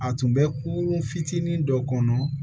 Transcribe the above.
A tun bɛ kurun fitinin dɔ kɔnɔ